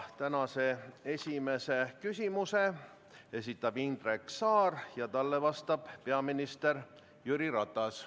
Tänase esimese küsimuse esitab Indrek Saar ja talle vastab peaminister Jüri Ratas.